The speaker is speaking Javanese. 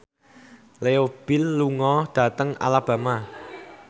Leo Bill lunga dhateng Alabama